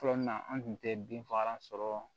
Fɔlɔ na an tun tɛ bin fagalan sɔrɔ